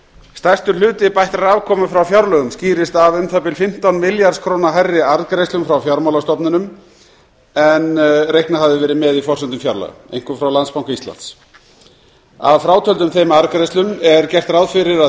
stærstur hluti bættrar afkomu frá fjárlögum skýrist af um það bil fimmtán milljarða króna hærri arðgreiðslum frá fjármálastofnunum en reiknað hafði verið með í forsendum fjárlaga einkum frá landsbanka íslands að frátöldum þeim arðgreiðslum er gert ráð fyrir að